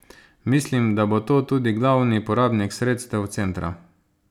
Mislim, da bo to tudi glavni porabnik sredstev centra.